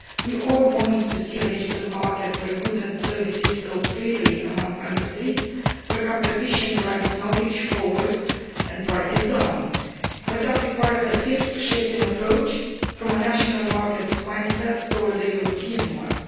We all want to see a digital market where goods and services flow freely among Member States, where competition drives knowledge forward and prices down, but that requires a shift in approach from a national market mindset towards a European one.